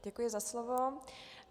Děkuji za slovo.